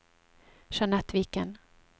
Jeanette Viken